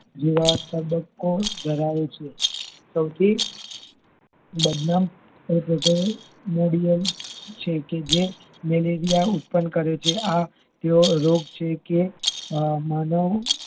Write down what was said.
જેવા તબકો ધરાવે છે સૌથી બદનામ એટલેકે modiyal છે કે જે મેલેરિયા ઉત્પન્ન કરે છે આ એવો રોગ છે કે માનવ